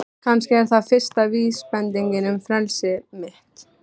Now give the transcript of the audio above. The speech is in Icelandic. Kannski er það fyrsta vísbendingin um frelsi mitt.